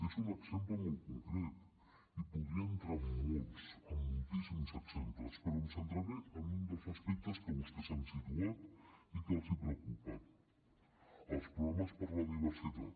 és un exemple molt concret i podria entrar en molts en moltíssims exemples però em centraré en un dels aspectes que vostès han situat i que els preocupa els programes per a la diversitat